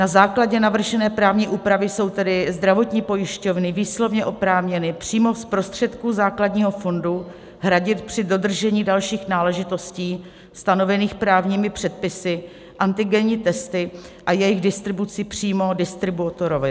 Na základě navržené právní úpravy jsou tedy zdravotní pojišťovny výslovně oprávněny přímo z prostředků základního fondu hradit při dodržení dalších náležitostí stanovených právními předpisy antigenní testy a jejich distribuci přímo distributorovi.